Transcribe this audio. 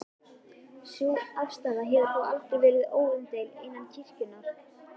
Sú afstaða hefur þó aldrei verið óumdeild innan kirkjunnar.